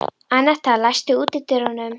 Annetta, læstu útidyrunum.